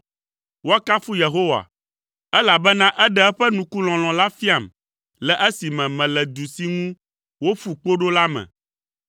Woakafu Yehowa, elabena eɖe eƒe nukulɔlɔ̃ la fiam le esime mele du si ŋu woƒu kpo ɖo la me.